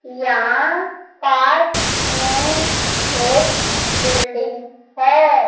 यहां पार्क में एक बिल्डिंग है।